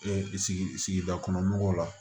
sigida kɔnɔ mɔgɔw la